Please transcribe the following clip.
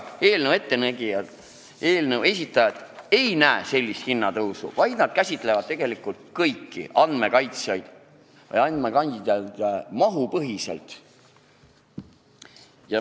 Eelnõu esitajad siiski ei näe ette sellist hinnatõusu, sest tegelikult käsitletakse kõiki andmekandjaid mahupõhiselt.